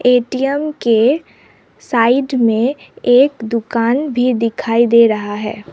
ATM के side में एक दुकान भी दिखाई दे रहा है।